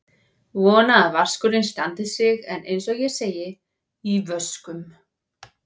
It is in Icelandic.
Vona að vaskurinn standi sig en eins og ég segi: í vöskum.